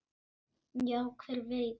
Já, hver veit?